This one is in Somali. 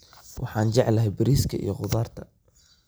Waxaan jeclahay bariiska iyo khudaarta